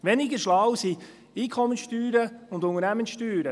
Weniger schlau sind Einkommenssteuern und Unternehmenssteuern.